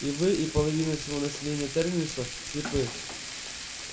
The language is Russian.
и вы и половина всего населения терминуса слепы